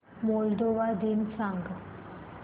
Moldova दिन सांगा